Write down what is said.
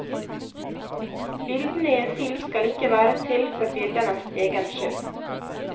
Bildene i en film skal ikke være til for bildenes egen skyld.